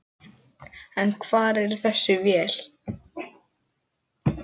En hvar er þessi vél?